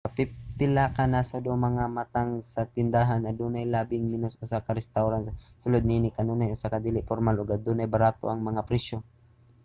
sa pipila ka nasod o mga matang sa tindahan adunay labing menos usa ka restawran sa sulod niini kanunay usa ka dili pormal ug adunay barato ang mga presyo